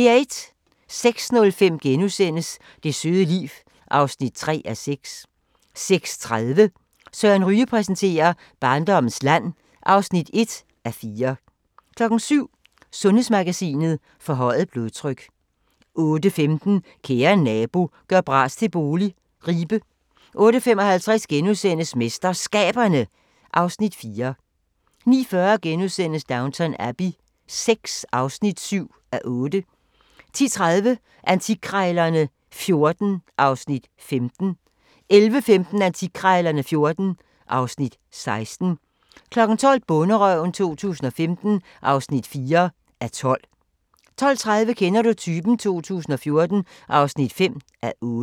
06:05: Det søde liv (3:6)* 06:30: Søren Ryge præsenterer: Barndommens land (1:4) 07:00: Sundhedsmagasinet: Forhøjet blodtryk 08:15: Kære nabo – gør bras til bolig – Ribe 08:55: MesterSkaberne (Afs. 4)* 09:40: Downton Abbey VI (7:8)* 10:30: Antikkrejlerne XIV (Afs. 15) 11:15: Antikkrejlerne XIV (Afs. 16) 12:00: Bonderøven 2015 (4:12) 12:30: Kender du typen? 2014 (5:8)